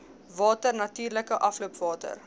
water natuurlike afloopwater